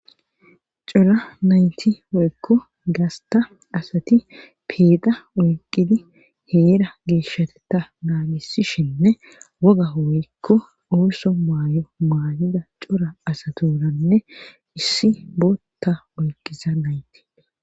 cora nayti woykko gasta asati peeda oyqidi heera geeshateta naagisishenne woga woykko ooso maayo maayida cora asaturanne issi bootta oyqqisa nayti